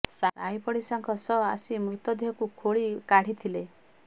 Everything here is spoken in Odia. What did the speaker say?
ସାହି ପଡିଶାଙ୍କ ସହ ଆସି ମୃତ ଦେହକୁ ଖୋଳି କାଢିଥିଲେ